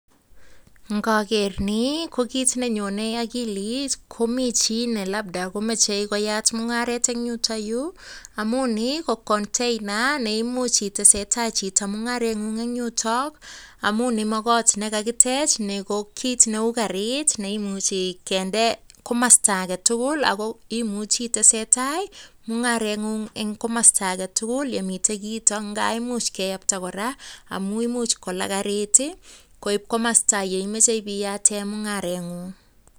Ngaker ni ko kiit nenyonei akilit komi chi ne labda komechi koyat mung'aret eng yuto yu amu ni ko container neimuch itesetai chito mung'areng'un eng' yuto amun ni komakot nekakitech ni ko kiit neu karit neimuchi kende komasta agetukul ako imuchi itesetai mung'areng'un eng komosta agetugul yemitei kiito ngaimuch keyapta kora amu imuch kola karit koip komosta yeimoche piyate mung'areng'un